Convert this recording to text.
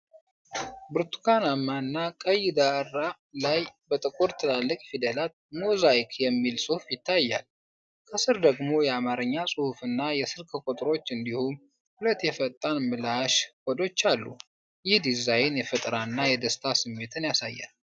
ብርቱካናማ እና ቀይ ዳራ ላይ በጥቁር ትላልቅ ፊደላት “ሞዛይክ” የሚል ጽሑፍ ይታያል። ከስር ደግሞ የአማርኛ ጽሑፍና የስልክ ቁጥሮች እንዲሁም ሁለት የፈጣን ምላሽ ኮዶች አሉ። ይህ ዲዛይን የፈጠራ እና የደስታ ስሜት ያሳያል።